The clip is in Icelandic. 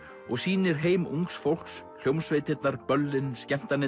og sýnir heim ungs fólks hljómsveitirnar böllin